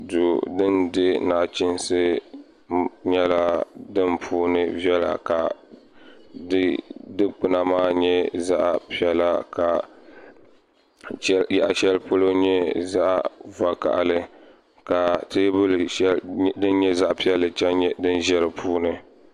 Duu din dihi nachiinsi nyɛla din puuni viɛla ka di dikpuna maa nyɛ zaɣ piɛla ka yaɣa shɛli polo nyɛ zaɣ vakaɣali ka teebuli din nyɛ zaɣ vakaɣali chɛŋ nyɛ din ʒɛ di puuni